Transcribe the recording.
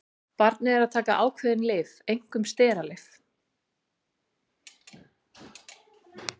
Barnið er að taka ákveðin lyf, einkum steralyf.